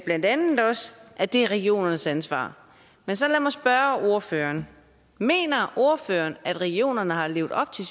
blandt andet også at det er regionernes ansvar men så lad mig spørge ordføreren mener ordføreren at regionerne har levet op til